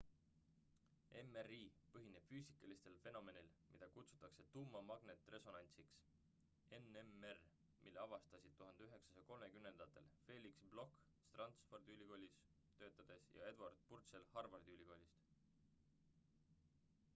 mri põhineb füüsikalisel fenomenil mida kutsutakse tuumamagnetresonantsiks nmr mille avastasid 1930ndatel felix bloch stanfordi ülikoolis töötades ja edward purcell harvardi ülikoolist